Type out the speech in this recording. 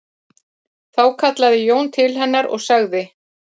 Þá kallaði Jón til hennar og sagði